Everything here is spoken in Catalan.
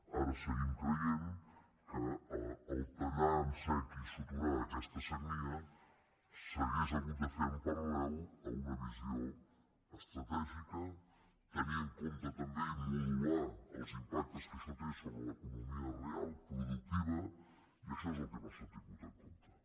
ara seguim creient que tallar en sec i suturar aquesta sagnia s’hauria hagut de fer en paral·lel a una visió estratègica tenir en compte també i modular els impactes que això té sobre l’economia real productiva i això és el que no s’ha tingut en compte